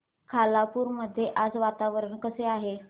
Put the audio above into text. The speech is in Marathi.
खालापूर मध्ये आज वातावरण कसे आहे